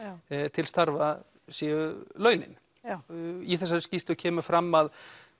til starfa séu launin já í þessari skýrslu kemur fram að